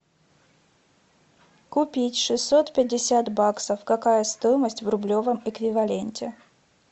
купить шестьсот пятьдесят баксов какая стоимость в рублевом эквиваленте